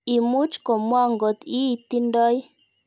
Imuch ko mwaa ngot ii tindoi.